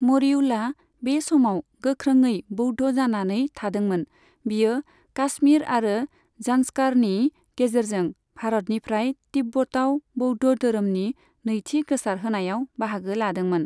मरियुला बे समाव गोख्रोङै बौद्ध जानानै थादोंमोन, बियो काश्मीर आरो जान्सकारनि गेजेरजों भारतनिफ्राय तिब्बताव बौद्ध धोरमनि नैथि गोसारहोनायाव बाहागो लादोंमोन।